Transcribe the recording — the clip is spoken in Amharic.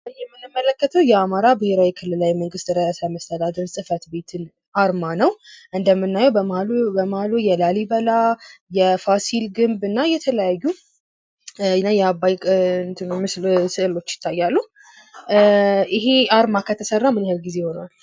በምስሉ ላይ የምንመለከተው የአማራ ብሄራዊ ክልላዊ መንግስት ርዕሰ መስተዳድር ጽሕፈት ቤን አርማ ነው። እንደምናየው በመሃሉ የላሊበላ ፣ የፋሲል ግምብ እና የአባይ ምስል ይታያሉ። ይሄ አርማ ከተሰራን ያክል ጊዜ ይሆነዋል?